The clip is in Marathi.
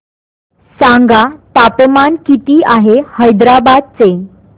सांगा तापमान किती आहे हैदराबाद चे